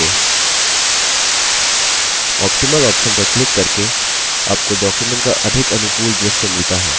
optimal option पर click करके आपको document का अधिक अनुकूल दृश्य मिलता है